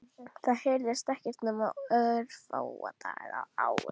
Það heyrðist ekki nema örfáa daga á ári.